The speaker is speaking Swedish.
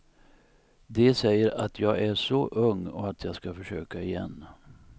De säger att jag är så ung och att jag ska försöka igen.